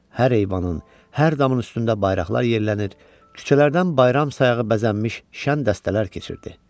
Hər eyvanın, hər damın üstündə bayraqlar yerlənir, küçələrdən bayram sayağı bəzənmiş şən dəstələr keçirdi.